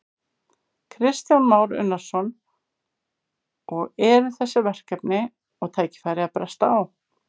Kristján Már Unnarsson: Og eru þessi verkefni og tækifæri að bresta á?